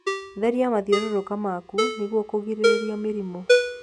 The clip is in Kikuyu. Therĩa mathiũrũrũka maku nĩguo kuigiririrĩa mĩrimũ